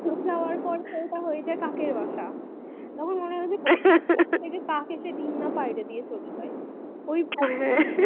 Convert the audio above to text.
যাওয়ার পর ওটা চেয়ে যাই কাকের বাসা তখন মনে হয় যে কাক আসে ডিম্ না পাইরে দিয়ে চলে যাই ও যা